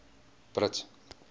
brits